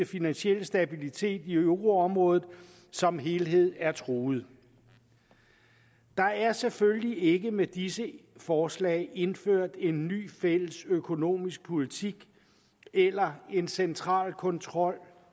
finansiel stabilitet i euroområdet som helhed er truet der er selvfølgelig ikke med disse forslag indført en ny fælles økonomisk politik eller en central kontrol